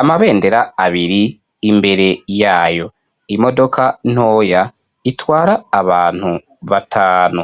Amabendera abiri imbere yayo, imodoka ntoya itwara abantu batanu.